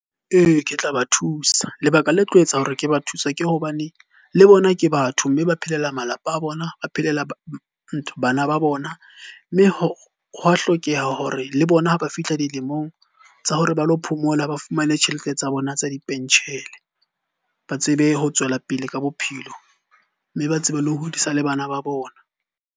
Ee, ke tla ba thusa. Lebaka le tlo etsa hore ke ba thusa ke hobane le bona ke batho mme ba phelele malapa a bona, ba phelela bana ba bona. Mme hwa hlokeha hore le bona ha ba fihla dilemong tsa hore ba lo phomola, ba fumane tjhelete tsa bona tsa dipentjhele. Ba tsebe ho tswela pele ka bophelo, mme ba tsebe le ho hodisa le bana ba bona.